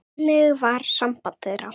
Þannig var samband þeirra.